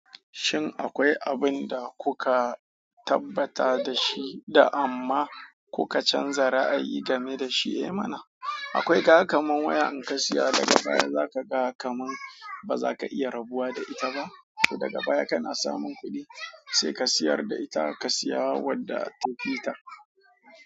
Shin akwai abin da kuka tabbata da shi da amma kuka canza ra'ayi game da shi? Eh mana, akwai ga kamun waya in ka siya daga baya za ka ga kamun ba za ka iya rabuwa da ita ba. To daga baya kana samun kuɗi sai ka siyar da ita ka siya wadda tafita.